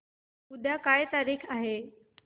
उद्या काय तारीख आहे